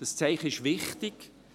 Das Zeichen ist wichtig.